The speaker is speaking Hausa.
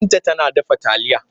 Binta tana dafa taliya.